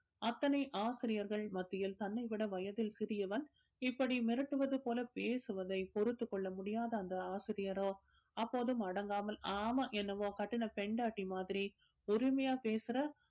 அத்தனை ஆசிரியர்கள் மத்தியில் தன்னைவிட வயதில் சிறியவன் இப்படி மிரட்டுவதுப் போல பேசுவதை பொறுத்துக் கொள்ள முடியாத அந்த ஆசிரியரோ அப்போதும் அடங்காமல் ஆமாம் என்னமோ கட்டுன பொண்டாட்டி மாதிரி உரிமையா பேசுற